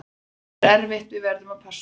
Þetta er erfitt, við verðum að passa okkur.